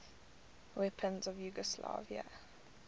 weapons of yugoslavia